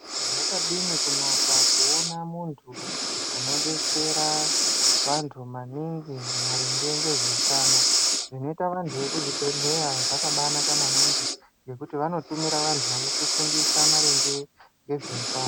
Zvadini kunaka kuona muntu unobetsera vantu maningi maringe ngezveutano. Zvinoita vantu vekuzvibhedheya zvakabanaka maningi ngekuti vanotumira vantu vanotifundisa maringe ngezveutano.